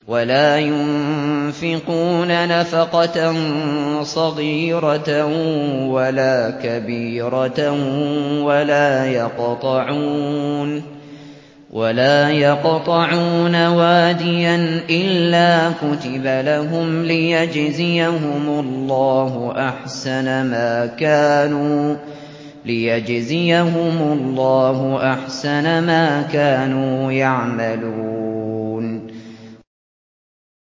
وَلَا يُنفِقُونَ نَفَقَةً صَغِيرَةً وَلَا كَبِيرَةً وَلَا يَقْطَعُونَ وَادِيًا إِلَّا كُتِبَ لَهُمْ لِيَجْزِيَهُمُ اللَّهُ أَحْسَنَ مَا كَانُوا يَعْمَلُونَ